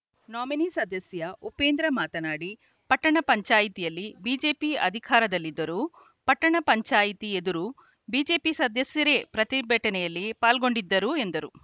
nominee ಸದಸ್ಯ ಉಪೇಂದ್ರ ಮಾತನಾಡಿ ಪಟ್ಟಣ ಪಂಚಾಯಿತಿಯಲ್ಲಿ ಬಿಜೆಪಿ ಅಧಿಕಾರದಲ್ಲಿದ್ದರೂ ಪಟ್ಟಣ ಪಂಚಾಯಿತಿ ಎದುರು ಬಿಜೆಪಿ ಸದಸ್ಯರೇ ಪ್ರತಿಭಟನೆಯಲ್ಲಿ ಪಾಲ್ಗೊಂಡಿದ್ದರು ಎಂದರು